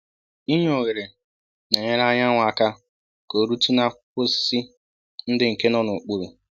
I nye oghere n'enyere anyanwu aka ka orutu na akwụkwọ osisi ndị nke nọ n'okpuru